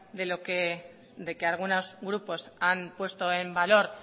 de que algunos grupos han puesto en valor